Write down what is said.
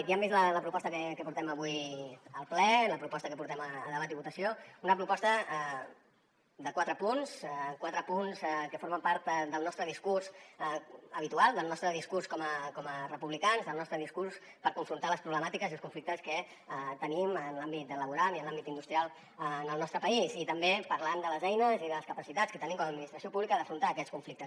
ja hem vist la proposta que portem avui al ple la proposta que portem a debat i votació una proposta de quatre punts quatre punts que formen part del nostre discurs habitual del nostre discurs com a republicans del nostre discurs per confrontar les problemàtiques i els conflictes que tenim en l’àmbit laboral i en l’àmbit industrial en el nostre país i també parlant de les eines i de les capacitats que tenim com a administració pública d’afrontar aquests conflictes